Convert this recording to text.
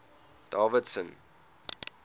davidson